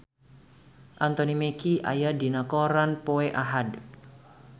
Anthony Mackie aya dina koran poe Ahad